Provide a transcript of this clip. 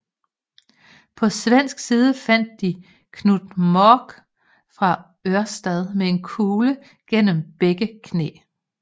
På svensk side fandt de Knut Mork fra Ørsta med en kugle gennem begge knæ